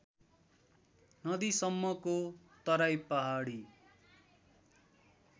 नदीसम्मको Terai Pahadi